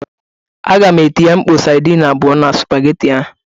Aga m etinye mkpọ sadin abụọ na spageti ahụ.